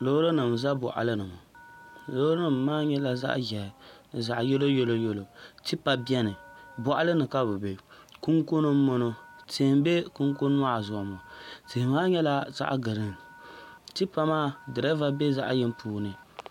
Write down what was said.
Loori nim n ʒɛ boɣali ni ŋo loori nim maa nyɛla zaɣ ʒiɛhi ni zaɣ yɛlo yɛlo yɛlo tipa biɛni boɣali ni ka bi bɛ kunkuni n boŋo tia n bɛ kunkun maa zuɣu ŋo tia maa nyɛla zaɣ giriin tipa maa dirɛva bɛ zaɣ yini puuni